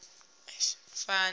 ri sa fani u sa